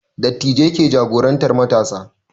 Dattijai ke jagorantar matasa